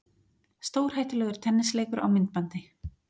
Stórhættulegur tennisleikur á myndbandi